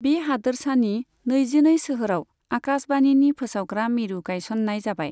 बे हादोरसानि नैजिनै सोहोराव आकाशवाणीनि फोसावग्रा मिरु गायसननाय जाबाय।